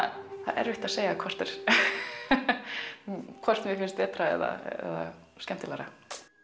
erfitt að segja hvort hvort mér finnst betra eða skemmtilegra